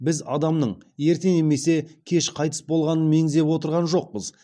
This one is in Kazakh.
біз адамның ерте немесе кеш қайтыс болғанын меңзеп отырған жоқпыз